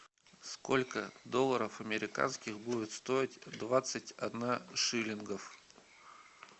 сколько долларов американских будет стоить двадцать одна шиллингов